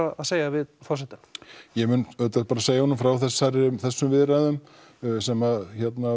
að segja við forsetann ég mun auðvitað segja honum frá þessum viðræðum sem